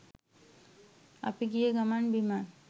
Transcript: අපි ගිය ගමන් බිමන්